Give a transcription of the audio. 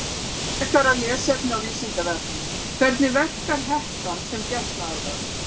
Frekara lesefni á Vísindavefnum: Hvernig verkar hettan sem getnaðarvörn?